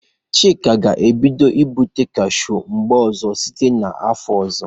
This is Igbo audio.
Chika ga-ebido ibụpu kashụ n'mba ọzọ site n 'afọ ọzọ.